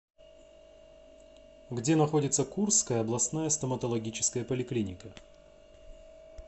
где находится курская областная стоматологическая поликлиника